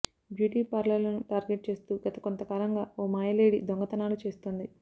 beauty పార్లర్లను target చేస్తూ గత కొంత కాలంగా ఓ మాయలేడి దొంగతనాలను చేస్తోంది